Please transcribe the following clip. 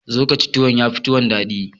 Zo ka ci tuwo, ya fi tuwon daɗi.